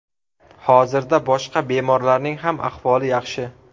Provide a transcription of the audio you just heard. Hozirda boshqa bemorlarning ham ahvoli yaxshi.